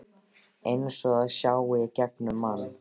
Eins og það sjái í gegnum mann.